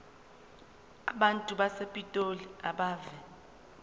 abantu basepitoli abeve